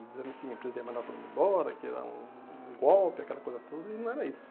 Dizendo que a empresa ia mandar todo mundo embora, que era um um golpe, aquela coisa toda, e não era isso.